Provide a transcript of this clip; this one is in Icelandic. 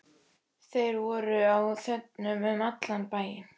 Þeir voru á þönum um allan bæinn.